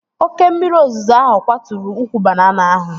Oke mmiri ozuzo ahụ kwaturu ukwu banana ahụ